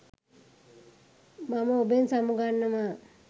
මම ඔබෙන් සමු ගන්නවා.